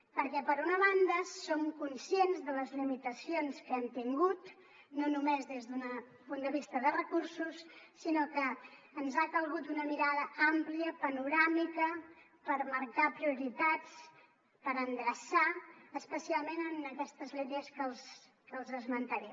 perquè per una banda som conscients de les limitacions que hem tingut no només des d’un punt de vista de recursos sinó que ens ha calgut una mirada àmplia panoràmica per marcar prioritats per endreçar especialment en aquestes línies que els esmentaré